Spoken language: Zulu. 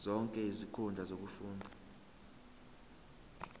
zonke izinkundla zokufunda